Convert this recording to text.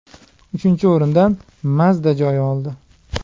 Uchinchi o‘rindan Mazda joy oldi.